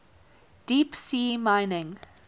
deep sea mining